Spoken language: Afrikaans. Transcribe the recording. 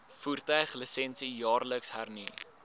voertuiglisensie jaarliks hernu